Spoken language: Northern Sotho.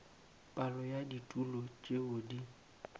palo ya ditulo tšeo di